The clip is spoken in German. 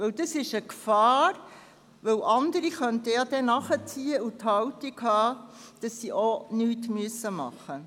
Dies ist eine Gefahr, weil andere dann nachziehen und die Haltung einnehmen könnten, dass sie auch nichts tun müssen.